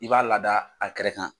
I b'a lada a kɛrɛ kan.